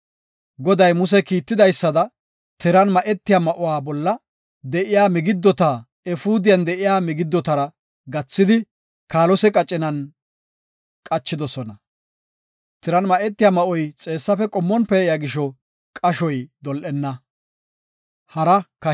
Goday Muse kiitidaysada, tiran ma7etiya ma7uwa bolla de7iya migiddota efuudiyan de7iya migiddotara gathidi, kaalose qacina qachidosona. Tiran ma7etiya ma7oy xeessafe qommon pee7iya gisho qashoy dol7enna.